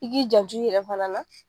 I k'i janto i yɛrɛ fana la